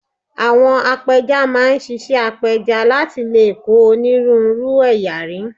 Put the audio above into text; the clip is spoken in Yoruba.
Àwọn apẹja máa ń ṣiṣẹ́ apẹja láti lè kó onírúurú ẹ̀yà rí